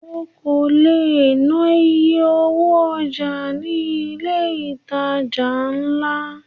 O kò lè ná iye owó ọjà ní ilé ìtajà ńlá.